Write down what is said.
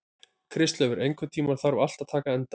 Kristleifur, einhvern tímann þarf allt að taka enda.